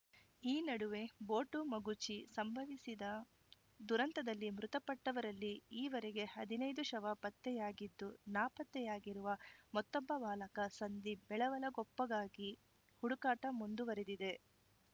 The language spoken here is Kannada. ಈ ನಡುವೆ ಬೋಟು ಮಗುಚಿ ಸಂಭವಿಸಿದ ದುರಂತದಲ್ಲಿ ಮೃತಪಟ್ಟವರಲ್ಲಿ ಈವರೆಗೆ ಹದಿನೈದು ಶವ ಪತ್ತೆಯಾಗಿದ್ದು ನಾಪತ್ತೆಯಾಗಿರುವ ಮತ್ತೊಬ್ಬ ಬಾಲಕ ಸಂದೀಪ್‌ ಬೆಳವಲಕೊಪ್ಪಗಾಗಿ ಹುಡುಕಾಟ ಮುಂದುವರಿದಿದೆ